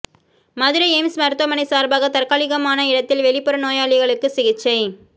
Madurai AIIMS மருத்துவமனை சார்பாக தற்காலிகமான இடத்தில் வெளிப்புற நோயாளிகளுக்கு சிகிச்சை